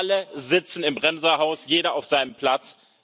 Alle sitzen im Bremserhaus, jeder auf seinem Platz.